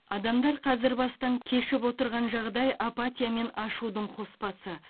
адамдар қазір бастан кешіп отырған жағдай апатия мен ашудың қоспасы